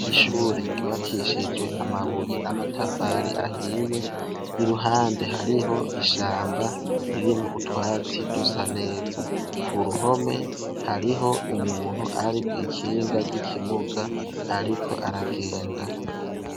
Ishure ryubakishijwe amabuye n'amatafari ahiye, iruhande hariho ishamba ririmwo utwatsi dusa neza. Ku ruhome hariho umuntu ari kw'ikinga ry'ikimuga ariko aragenda.